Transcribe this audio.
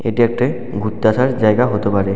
এটি একটি ঘুরতে আসার জায়গা হতে পারে।